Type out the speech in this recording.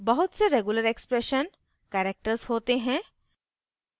बहुत से regular expression characters होते हैं